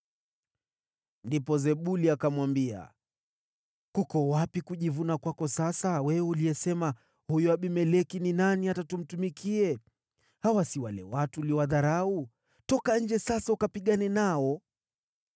Ndipo Zebuli akamwambia, “Kuko wapi kujivuna kwako sasa, wewe uliyesema, ‘Huyo Abimeleki ni nani hata tumtumikie?’ Hawa si wale watu uliowadharau? Toka nje sasa ukapigane nao!”